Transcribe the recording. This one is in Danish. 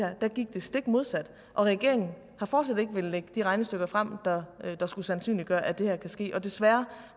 stik modsat og regeringen har fortsat ikke villet lægge de regnestykker frem der skulle sandsynliggøre at det her kan ske og desværre